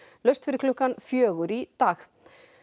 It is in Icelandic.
laust fyrir klukkan fjögur í dag